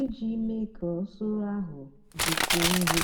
íjì mée kà usoro áhụ dịkwúó nro.